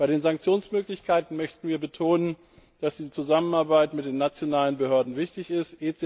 Bei den Sanktionsmöglichkeiten möchten wir betonen, dass die Zusammenarbeit mit den nationalen Behörden wichtig ist.